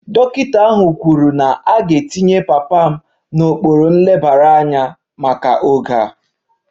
Dọkịta ahụ kwuru na a ga-etinye papa m n'okpuru nlebara anya maka oge a